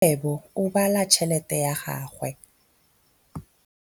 Rakgwêbô o bala tšheletê ya gagwe.